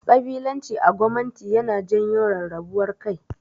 Ƙabilanci a gwamanti yana janyo rarrabuwar kai.